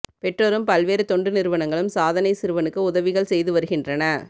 பெற்றோரும் பல்வேறு தொண்டு நிறுவனங்களும் சாதனை சிறுவனுக்கு உதவிகள் செய்து வருகின்றன